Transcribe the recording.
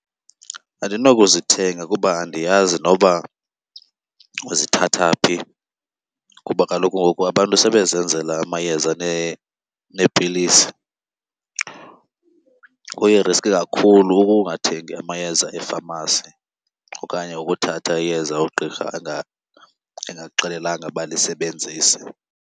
Andinokuzithenga kuba andiyazi noba uzithatha phi kuba kaloku ngoku abantu sebezenzela amayeza neepilisi. Kuyiriskhi kakhulu ukungathengi amayeza efamasi okanye ukuthatha iyeza ugqirha engakuxelelanga uba lisebenzise.